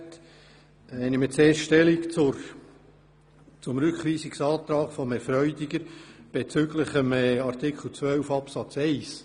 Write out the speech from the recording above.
Ich nehme zuerst Stellung zum Rückweisungsantrag von Herrn Grossrat Freudiger betreffend Artikel 12 Absatz 1.